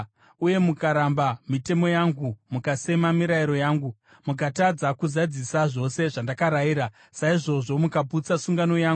uye mukaramba mitemo yangu, mukasema mirayiro yangu, mukatadza kuzadzisa zvose zvandakarayira, saizvozvo mukaputsa sungano yangu,